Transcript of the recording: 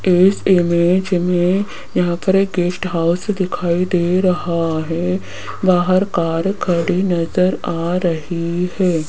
इस इमेज मे यहां पर एक गेस्ट हाउस दिखाई दे रहा है बाहर कार खड़ी नज़र आ रही है।